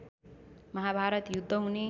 महाभारत युद्ध हुने